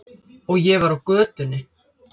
Og ég var á götunni.